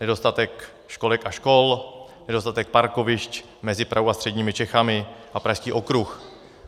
Nedostatek školek a škol, nedostatek parkovišť mezi Prahou a středními Čechami a Pražský okruh.